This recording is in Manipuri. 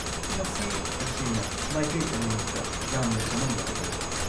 ꯃꯁꯤ ꯇꯁꯦꯡꯅ ꯃꯥꯏꯀꯩ ꯑꯅꯤꯃꯛꯇ ꯌꯥꯝꯅ ꯆꯃꯝꯅꯕ ꯑꯣꯏ꯫